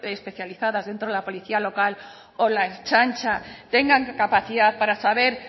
especializadas dentro de la policía local o la ertzaintza tengan capacidad para saber